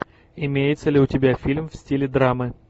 имеется ли у тебя фильм в стиле драмы